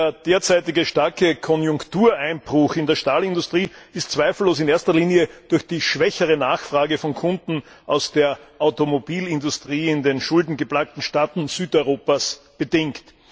Der derzeitige starke Konjunktureinbruch in der Stahlindustrie ist zweifellos in erster Linie durch die schwächere Nachfrage von Kunden aus der Automobilindustrie in den schuldengeplagten Staaten Südeuropas bedingt.